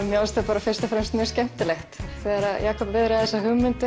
mér fannst þetta fyrst og fremst skemmtilegt þegar Jakob viðraði þessa hugmynd